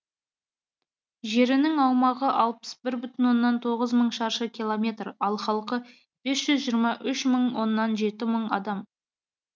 жерінің аумағы алпыс бір бүтін оннан жеті мың шаршы километр халқы бес жүз жиырма үш оннан жеті мың адам